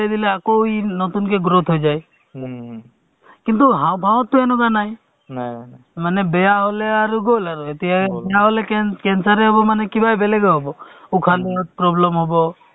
অ, মানে তেওঁলোকক অ link কৰি দিছে তেওঁলোকক card ৰ ব্যৱস্থাও হ'ব চৰকাৰে দিব আছেও তেওঁলোকক যিটো য়ে free of service নহয় জানো medical ত department ৰ যিমান team আছে MPW ৰ পৰা ধৰি আ